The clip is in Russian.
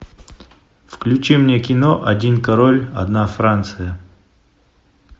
включи мне кино один король одна франция